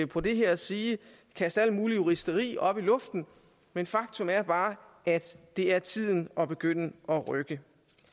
på det her og sige kast alle mulige juristerier op i luften men faktum er bare at det er tiden at begynde at rykke